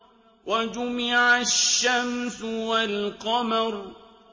وَجُمِعَ الشَّمْسُ وَالْقَمَرُ